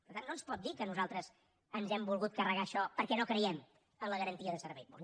per tant no ens pot dir que nosaltres ens hem volgut carregar això perquè no creiem en la garantia de servei públic